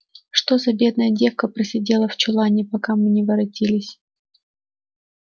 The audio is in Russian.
что за бедная девка просидела в чулане пока мы не воротились